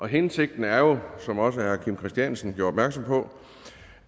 hensigten er jo som også herre kim christiansen gjorde opmærksom på